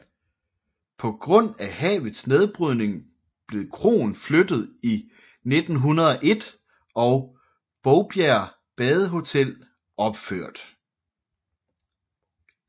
På grund af havets nedbrydning blev kroen flyttet i 1901 og Bovbjerg Badehotel opført